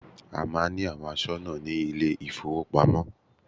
A máà ń ní àwọn aṣọ́nà ní ilé ìfọwọ́pamo.